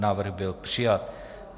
Návrh byl přijat.